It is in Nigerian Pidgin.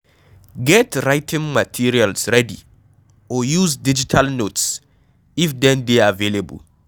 Get Writing materials ready or use digital notes if dem dey available